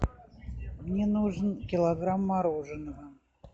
мне нужен килограмм мороженого